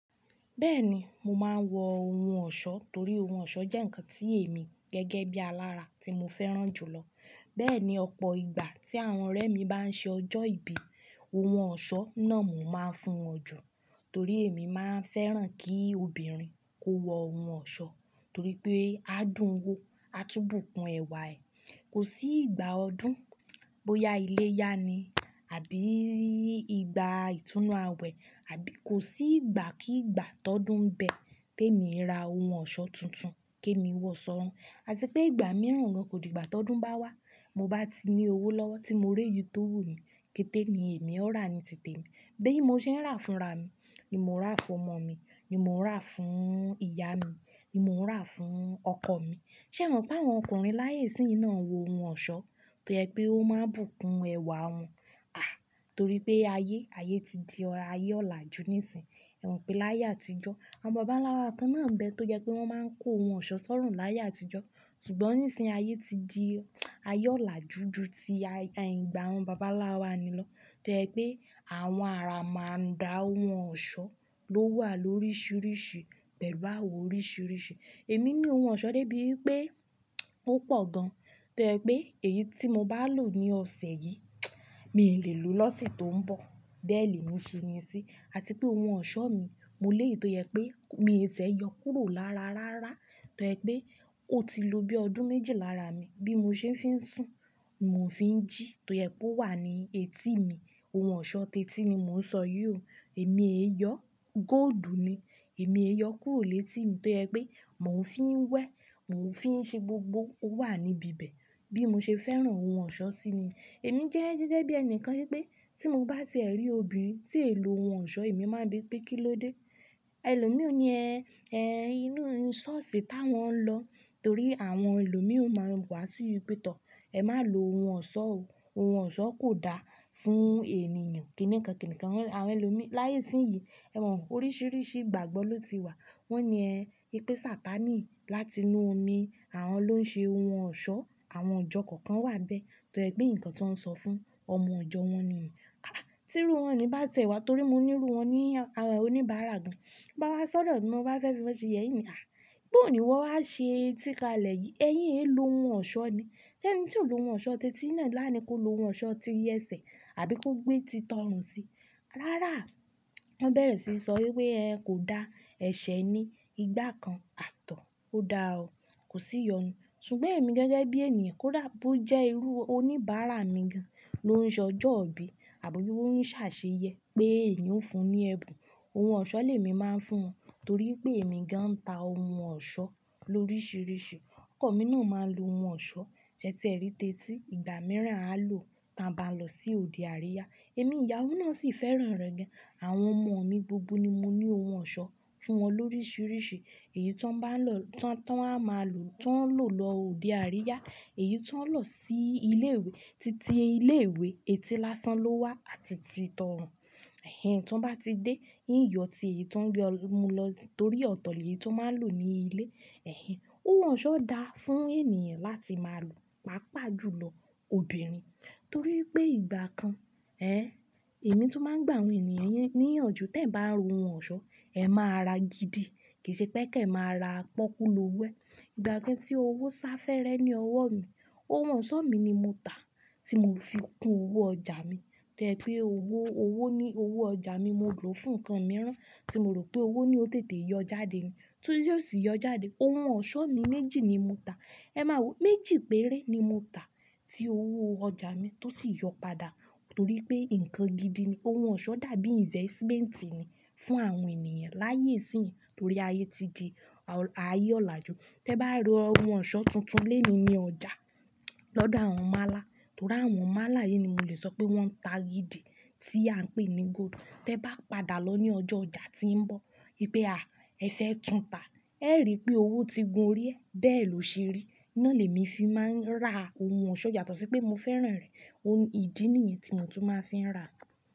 Bẹ́ẹ̀ni, mo máa ń wọ ohun ọ̀ṣọ́ torí ohun ọ̀ṣọ́ jẹ́ ǹkan tí èmi gẹ́gẹ́ bí alára tí mo fẹ́ràn jù lọ. Bẹ́ẹ̀ ni, ọ̀pọ̀ ìgbà tí àwọn ọ̀rẹ́ mi bá ń ṣe ọjọ́ ìbí, ohun ọ̀ṣọ́ náà mo máa ń fún wọn jù torí èmi máa ń fẹ́ràn kí obìnrin kó wọ ohun ọ̀ṣọ́ torí pé á dùn ún wó, á túnbùkún ẹwà ẹ. Kò sí ìgbà ọdún, bóyá iléyá ni àbí ìgbà ìtúnu àwẹ̀ àbí kò sí ìgbà kí ìgbà tó dùn ń bẹ́ẹ̀ tí èmi ń ra ohun ọ̀ṣọ́ tuntun tèmi wọ̀ ṣọ́run. Àti pé ìgbà mìíràn gan kò di ìgbà tó dùn bá wá, mo bá ti ní owó lọ́wọ́ tí mo rẹ́ yí tó wù mí, kété ni èmi ó rà ní tìtẹ́ mi. Bẹ́ẹ̀ ni mo ṣe ń rà fún ra mi, ni mo ń rà fún ọmọ mi, ni mo ń rà fún ìyá mi, ni mo ń rà fún ọkọ mi. Ṣé ẹ̀ mọ̀ pé àwọn ọkùnrin láyé síyìn náà ń wọ ohun ọ̀ṣọ́ torí pé ó máa ń bùkún ẹwà wọn? À! Torí pé ayé, ayé ti di ayé ọlà jù níìsín. Ẹ̀ mọ̀ pé láyé àtijọ́, àwọn baba ńlá wa kan náà ń bẹ tó jẹ́ pé wọ́n máa ń kó ohun ọ̀ṣọ́ sọ́run láyé àtijọ́. Ṣùgbọ́n nísìnyí, ayé ti di ayé ọlà juju tí ayé ń gba àwọn baba ńlá wa ni lọ tó jẹ́ pé àwọn ara máa ń ra ohun ọ̀ṣọ́ ló wà lóríṣiríṣi pẹ̀lú àwọ̀ oríṣiríṣi. Èmi ní ohun ọ̀ṣọ́ dé bí pé ó pọ̀ gan. Toye pé èyí tí mo bá lò ní ọ̀sẹ̀ yìí, mi lè lò lọ́sẹ̀ tó ń bọ̀. Bẹ́ẹ̀ ni mo ṣe ní sí. Àti pé ohun ọ̀ṣọ́ mi mo léèyọ tó yẹ pé mi tẹ́ẹ̀ yọ kúrò lára rárá tó jẹ́ pé ó ti lóbí ọdún méjìlá ra mi. Bí mo ṣe ń fi ń sùn, mo sì ń jí tó yẹ pé ó wà ní etí mi. Ohun ọ̀ṣọ́ tẹ́tí ni mo ń sọ yiò, èmi èyọ, góòdù ni. Èmi èyọ kúrò létí tó yẹ́ pé mò ń fi ń wẹ̀, mò ń fi ń ṣe gbogbo. Ó wà níbi ibẹ̀ bí mo ṣe fẹ́ràn ohun ọ̀ṣọ́ sí ni. Èmi jẹ́ gẹ́gẹ́ bí ẹnìkan pé tí mo bá tẹ̀rí obìnrin tí ẹ̀ lò ohun ọ̀ṣọ́, èmi máa bi pé kí ló dé? Ẹ̀lòmíràn ni ẹ, ẹ inú ohun ọ̀ṣọ́sí tá wọ́n ń lọ torí àwọn ẹlòmíràn máa wá sí ibi pé tọ̀, ẹ má lò ohun ọ̀ṣọ́ o. Ohun ọ̀ṣọ́ kò da fún ènìyàn. Kìníkàn kìníkàn àwọn ẹlòmíràn láyé síyìn, ẹ̀ mọ̀, oríṣiríṣi ìgbàgbọ́ ló ti wà. Wọ́n ni ẹ pé Satani láti inú omi, àwọn ló ń ṣe ohun ọ̀ṣọ́. Àwọn ọjọ́ kọ̀ọ̀kan wà bẹ́ẹ́ tó jẹ́ pé ǹkan tó ń sọ fún ọmọ ọjọ́ wọn ni. Àá! Tí irú wọn ni bá tẹ wá torí mo ní irú wọn ní oníbàárà gan, bá wá sọ̀dọ̀ mi, wọ́n bá fẹ́ fi wọ́n ṣe, yeye in ni, à! Bòoní iwọ wá ṣe etí kalẹ̀ yìí, ẹyin ẹ̀ lò ohun ọ̀ṣọ́ ni. Ṣé ẹni tí ò lò ohun ọ̀ṣọ́ tẹ́tí náà làní kó lo ohun ọ̀ṣọ́ ti iyẹ̀ṣẹ̀ àbí kó gbé ti tọrùn sí? Rárá, wọ́n bẹ̀rẹ̀ sí í sọ wí pé ẹ kò dá, ẹ̀ṣẹ̀ ni, ìgbà kan, àtọ̀, ó da o. Kò sí i yọnu. Ṣùgbọ́n èmi gẹ́gẹ́ bí ènìyàn kó dà bó jẹ́ irú oníbàárà mi gan ló ń ṣe ọjọ́ òbí àbo bí wọ́n ń ṣàṣeyẹ pé èmí ó fún un ní ẹ̀bùn. Ohun ọ̀ṣọ́ lèmi máa ń fún wọn torí pé èmi gan ń ta ohun ọ̀ṣọ́ lóríṣiríṣi. Ọkọ mi náà máa ń lo ohun ọ̀ṣọ́ ṣẹ ti ẹ rí tẹ́tí. Ìgbà mìíràn á lò tí a bá lọ sí òde àríyá. Èmi ìyàwó náà sì fẹ́ràn rẹ̀ gan. Àwọn ọmọ mi gbogbo ni mo ní ohun ọ̀ṣọ́ fún wọn lóríṣiríṣi. Èyí tí wọ́n bá lọ, tí wọ́n á máa lò, tí wọ́n lọ òde àríyá, èyí tí wọ́n lọ sí ilé ìwé títí ilé ìwé etí lásán ló wà àti ti tọrùn. Ẹ̀hìn tí wọ́n bá ti dé, ń yọ tí èyí tí wọ́n gbé mú lọ torí ọ̀tọ̀ lè yi tí wọ́n máa lò ní ilé. Ẹ̀hìn, ohun ọ̀ṣọ́ dáa fún ènìyàn láti máa lò. Paapaa jù lọ obìnrin torí pé ìgbà kan, ẹ́, èmi tó máa ń gbà àwọn ènìyàn níyànjú, tẹ ba ró ohun ọ̀ṣọ́, ẹ máa rà gidi. Kì í ṣe pé kí ẹ máa ra pọ́kú ló wẹ́. Ìgbà kan tí owó sá fẹ́rẹ́ ní ọwọ́ mi, ohun ọ̀ṣọ́ mi ni mo tà tí mo fi kún owó ọjà mi. Toye pé owó, owó ní owó ọjà mi mo lò fún nnkan mìíràn tí mo rò pé owó ni ó tètè yọ jáde ni, tún yóò sì yọ jáde. Ohun ọ̀ṣọ́ mi méjì ni mo tà. Ẹ máa wò, méjì péré ni mo tà tí owó ọjà mi tó sì yọ padà torí pé ǹkan gidi ni. Ohun ọ̀ṣọ́ dàbí investmenti ni fún àwọn ènìyàn láyé síyìn torí ayé ti di ayé ọlà jù. Tẹ ba rí ohun ọ̀ṣọ́ tuntun lé mi ní ọjà lọ́dọ̀ àwọn málá torí àwọn málá yìí ni mo lè sọ pé wọ́n ń ta gidi tí à ń pè ní góòdù. Tẹ ba padà lọ ní ọjọ́ ọjà tí ń bọ̀ wípé à, ẹsẹ̀ ẹ tún tà, ẹ rí i pé owó ti gun orí ẹ bẹ́ẹ̀ ló ṣe rí. Ná lèmi fi máa ń rà ohun ọ̀ṣọ́, yàtó sí pé mo fẹ́ràn rẹ̀. Ohun ìdí nìyẹn tí mo tún máa fi ń rà.